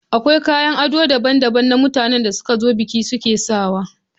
Akwai kayan ado daban-daban na mutanen da suka zo bikin suke sawa.